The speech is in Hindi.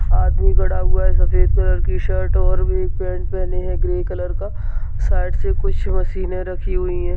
आदमी खड़ा हुआ है सफ़ेद कलर की शर्ट और भी पेन्ट पहने है ग्रे कलर का साइड से कुछ मशिने रखी हुई है।